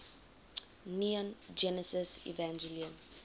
neon genesis evangelion